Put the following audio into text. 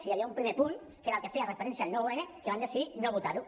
hi havia un primer punt que era el que feia referència al nou n que van decidir no votar ho